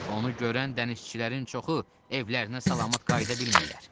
Onu görən dənizçilərin çoxu evlərinə salamat qayıda bilmirlər.